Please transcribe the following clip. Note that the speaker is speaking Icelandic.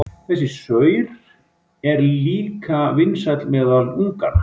Þessi saur er líka vinsæll meðal unganna.